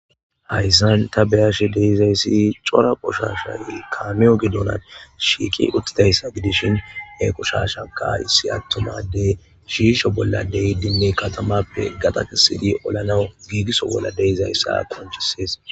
Hayssan ta beyashe deizayssi cora qushasha ilkaamiyo gidonan shiiqi uthidayssa gidishin equshashaka issi attumadey shiisho bolla deyi dinme katamappe gaxa kesidi olanawu giigiso bolla deizayssa atonchissees.